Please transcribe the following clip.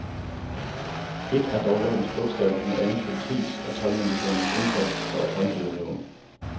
Ét er dog lovens bogstav, noget andet politiets og toldmyndighedernes indsats for at håndhæve loven.